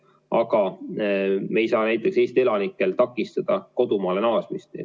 Aga me ei saa näiteks Eesti elanikel takistada kodumaale naasmist.